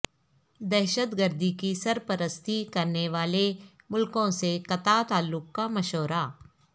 دہشت گردی کی سرپرستی کرنے والے ملکوں سے قطع تعلق کا مشورہ